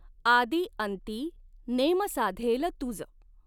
आदि अंति नॆम साधॆल तुज.